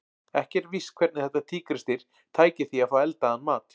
Ekki er víst hvernig þetta tígrisdýr tæki því að fá eldaðan mat.